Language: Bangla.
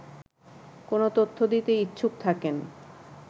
কোন তথ্য দিতে ইচ্ছুক থাকেন